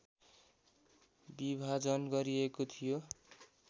विभाजन गरिएको थियो